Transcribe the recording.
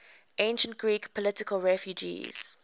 ancient greek political refugees